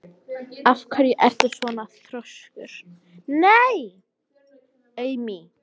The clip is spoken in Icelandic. Af hverju ertu svona þrjóskur, Amý?